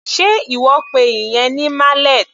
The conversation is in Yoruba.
Sé ìwọ pe ìyẹn ní mallet?